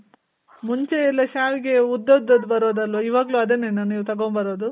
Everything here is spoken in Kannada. ಮುಂಚೆ ಎಲ್ಲಾ ಶಾವಿಗೆ ಉದ್ದುದ್ದದ್ ಬರೋದಲ್ವ ಇವಾಗ್ಲು ಅದನ್ನೇನ ನೀವ್ ತಗೊಂಬರೋದು?